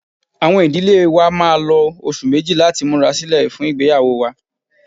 Awọn idile wa máà lo oṣu meji lati mura silẹ fun igbeyawo wa.